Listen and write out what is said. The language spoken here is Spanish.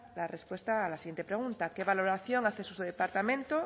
la respuesta a la siguiente pregunta qué valoración hace su departamento